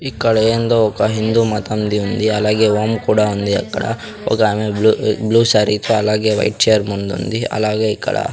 ఇక్కడ ఎందో ఒక హిందూ మతం ది ఉంది అలాగే హోమం కూడా ఉంది అక్కడ ఒకామె బ్లూ శారీ తో అలాగే వైట్ చేర్ మిందుంది అలాగే ఇక్కడ.